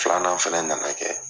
Filanan fana nana kɛ